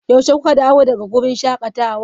Yaushe kuka dawo daga wurin shakatawa?